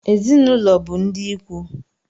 Ezinụlọ bụ ndị ikwu